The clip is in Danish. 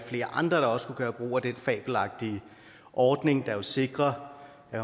flere andre også kunne gøre brug af den fabelagtige ordning der jo sikrer at